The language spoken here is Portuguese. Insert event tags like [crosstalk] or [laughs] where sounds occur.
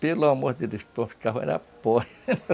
Pelo amor de Deus, o povo ficava na [unintelligible] [laughs]